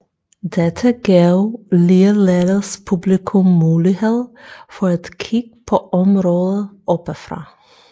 Dette gav ligeledes publikum mulighed for et kig på området oppefra